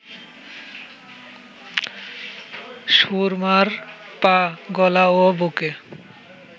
সুরমার পা, গলা ও বুকে